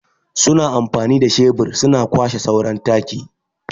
Su na amfanin da shebur su na kwashe sauran taki.